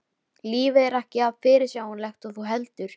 Fæ nýja útsýn yfir gervalla tilveruna.